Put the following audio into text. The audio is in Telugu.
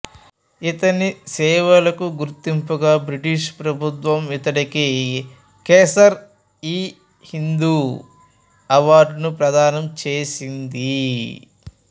ఇతని సేవలకు గుర్తింపుగా బ్రిటిష్ ప్రభుత్వం ఇతడికి కైసర్ఇహింద్ అవార్డును ప్రదానం చేసింది